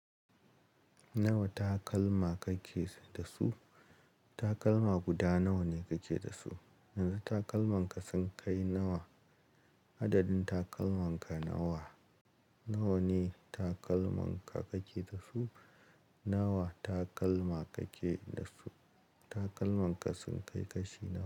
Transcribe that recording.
Nawa takalma kake da su? Takalma guda nawa ne kake da su? Yanzu takalman ka sun kai nawa? Adadin takalman ka nawa? Nawa ne takalman ka kake da su? Nawa takalma kake da su? Takalman ka sun kai kashi.